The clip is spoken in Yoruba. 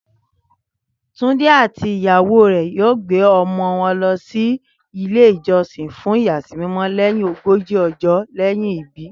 Túndé àti ìyàwó rẹ̀ yóò gbé ọmọ wọn lọ sí ilé-ìjọsìn fún ìyàsímímọ́ lẹ́yìn ogójì ọjọ́ lẹ́yìn ìbí